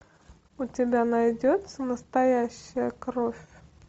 у тебя найдется настоящая кровь